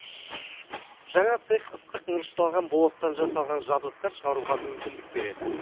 жаңа цех ыстық мырышталған болаттан жасалған жабдықтар шығаруға мүмкіндік береді